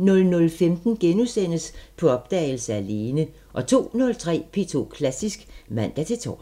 00:15: På opdagelse – Alene * 02:03: P2 Klassisk (man-tor)